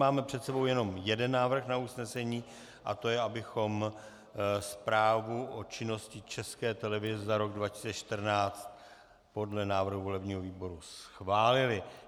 Máme před sebou jenom jeden návrh na usnesení, a to je, abychom Zprávu o činnosti České televize za rok 2014 podle návrhu volebního výboru schválili.